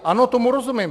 Ano, tomu rozumím.